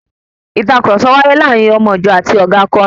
Ìtàkurọ̀sọ wàyè láàrín òmo ìjọ àti ọ̀ga akọrin.